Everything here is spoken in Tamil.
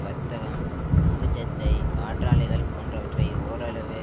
வர்த்கம் பங்கு சந்தை காற்றாலைகள் போன்றவற்றை ஓரளவு